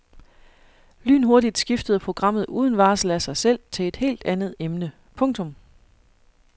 Lynhurtigt skiftede programmet uden varsel af sig selv til et helt andet emne. punktum